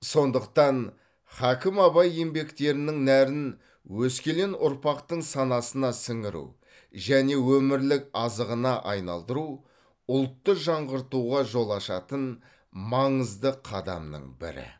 сондықтан хакім абай еңбектерінің нәрін өскелең ұрпақтың санасына сіңіру және өмірлік азығына айналдыру ұлтты жаңғыртуға жол ашатын маңызды қадамның бірі